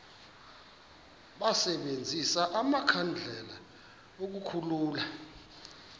basebenzise amakhandlela ukukhulula